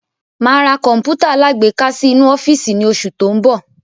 Máa ra Kọ̀npútà alágbéká sì inú ọ́fíìsì ni oṣù tó ń bọ̀.